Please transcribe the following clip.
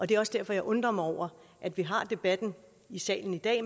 det er også derfor jeg undrer mig over at vi har debatten i salen i dag